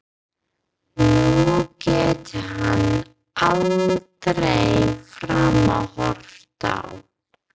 Nú getur hann aldrei framar horft á